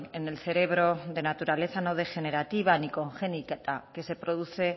en el cerebro de naturaleza no degenerativa ni congénita que se produce